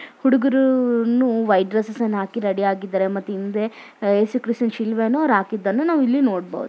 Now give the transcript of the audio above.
ಹುಡುಗರು white dress ಹಾಕೊಂಡು ನಿಂತಿದ್ದಾರೆ